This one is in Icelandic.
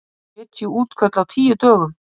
Sjötíu útköll á tíu dögum